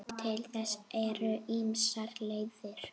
Til þess eru ýmsar leiðir.